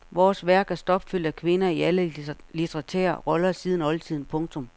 Vores værk er stopfuldt af kvinder i alle litterære roller siden oldtiden. punktum